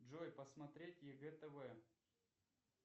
джой посмотреть егэ тв